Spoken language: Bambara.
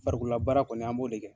Farikolola baara kɔni, an b'o de kɛ.